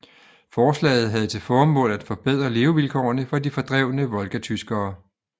Forslaget havde til formål at forbedre levevilkårene for de fordrevne volgatyskere